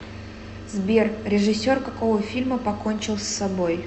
сбер режиссер какого фильма покончил с собои